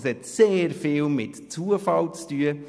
Das hat sehr viel mit Zufall zu tun.